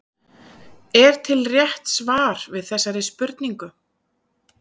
Er til rétt svar við þessari spurningu?